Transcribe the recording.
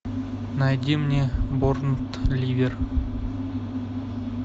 найди мне борнмут ливер